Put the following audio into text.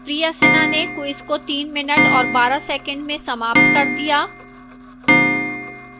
priya sinha ने quiz को 3 minutes और 12 seconds में समाप्त कर दिया